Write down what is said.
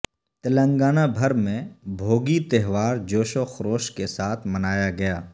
تلنگانہ بھر میں بھوگی تہوار جوش وخروش کے ساتھ منایاگیا